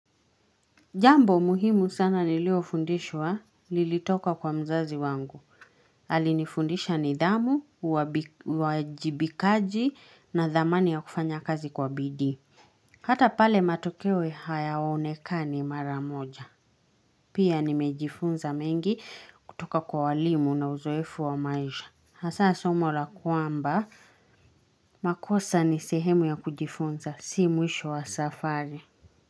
Jambo muhimu sana niliyofundishwa, lilitoka kwa mzazi wangu. Alinifundisha nidhamu, uwajibikaji na dhamani ya kufanya kazi kwa bidii. Hata pale matokeo hayaonekani mara moja. Pia nimejifunza mengi kutoka kwa walimu na uzoefu wa maisha. Hasa somo la kwamba, makosa ni sehemu ya kujifunza, si mwisho wa safari.